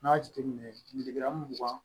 N'i y'a jateminɛ mugan